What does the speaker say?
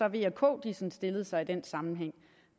at v og k stillede sig i den sammenhæng